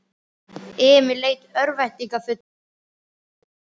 Emil leit örvæntingarfullur í kringum sig.